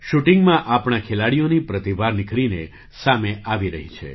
શૂટિંગમાં આપણા ખેલાડીઓની પ્રતિભા નિખરીને સામે આવી રહી છે